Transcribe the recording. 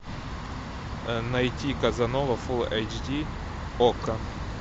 найти казанова фулл эйч ди окко